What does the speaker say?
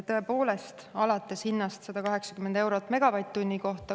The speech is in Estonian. Tõepoolest, alates hinnast 180 eurot megavatt-tunni kohta.